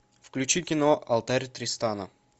включи кино алтарь тристана